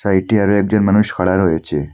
সাইটে আরও একজন মানুষ খাড়া রয়েছে।